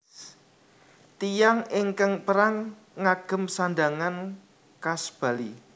Tiyang ingkang perang ngagem sandhangané khas Bali